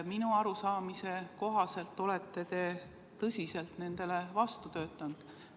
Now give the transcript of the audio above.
Minu arusaamise kohaselt olete te tõsiselt nendele vastu töötanud.